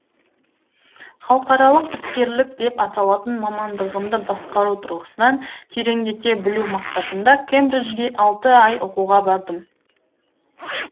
халықаралық іскерлік деп аталатын мамандығымды басқару тұрғысынан тереңдете білу мақсатында кембриджге алты ай оқуға бардым